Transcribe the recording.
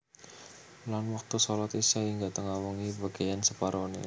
Lan wektu shalat Isya hingga tengah wengi bagéyan separoné